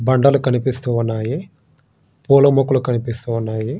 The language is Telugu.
దండలు కనిపిస్తున్నాయి. పూల మొక్కలు కనిపిస్తున్నాయి.